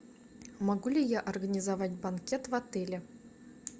могу ли я организовать банкет в отеле